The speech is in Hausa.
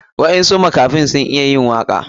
Waɗansu makafai sun iya yin waka.